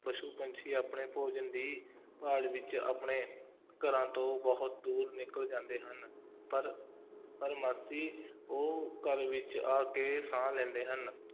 ਪਸ਼ੂ ਪੰਛੀ ਆਪਣੇ ਭੋਜਨ ਦੀ ਭਾਲ ਵਿੱਚ ਆਪਣੇ ਘਰਾਂ ਤੋਂ ਬਹੁਤ ਦੂਰ ਨਿਕਲ ਜਾਂਦੇ ਹਨ, ਪਰ, ਪਰ ਉਹ ਘਰ ਵਿੱਚ ਆ ਕੇ ਸਾਹ ਲੈਂਦੇ ਹਨ,